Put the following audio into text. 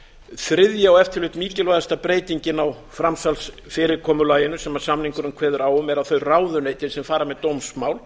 þriðja og ef til vill mikilvægasta breytingin á framsalsfyrirkomulaginu sem samningurinn kveður á um er að þau ráðuneyti sem fara með dómsmál